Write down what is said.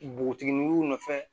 Npogotigininw nɔfɛ